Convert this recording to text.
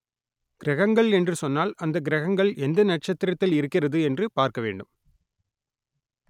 கிரகங்கள் என்று சொன்னால் அந்த கிரகங்கள் எந்த நட்சத்திரத்தில் இருக்கிறது என்று பார்க்க வேண்டும்